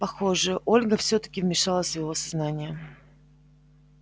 похоже ольга всё-таки вмешалась в его сознание